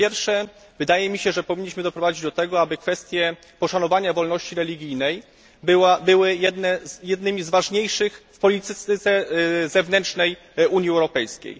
Po pierwsze, wydaje mi się, że powinniśmy doprowadzić do tego, aby kwestie poszanowania wolności religijnej były jednymi z ważniejszych w polityce zewnętrznej Unii Europejskiej.